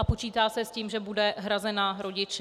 A počítá se s tím, že bude hrazena rodiči.